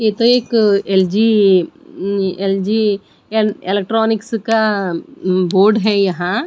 ये तो एक एल_जी उँ एल_जी एल इलेक्ट्रॉनिक्स का बोर्ड है यहां--